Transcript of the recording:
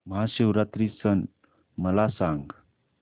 महाशिवरात्री सण मला सांग